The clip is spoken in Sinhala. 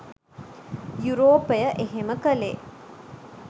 යුරෝපය එහෙම කළේ